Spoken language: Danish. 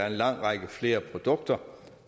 en lang række med flere produkter